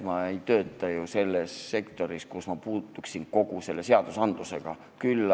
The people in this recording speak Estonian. Ma ei tööta ju sektoris, kus ma puutuksin kokku sellekohase seadusandlusega.